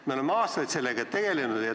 Me oleme aastaid sellega tegelenud.